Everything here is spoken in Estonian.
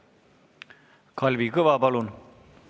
Kalvi Kõva, palun!